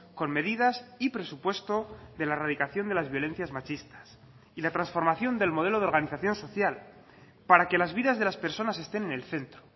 con medidas y presupuesto de la erradicación de las violencias machistas y la transformación del modelo de organización social para que las vidas de las personas estén en el centro